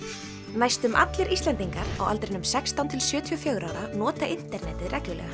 næstum allir Íslendingar á aldrinum sextán til sjötíu og fjögurra ára nota internetið reglulega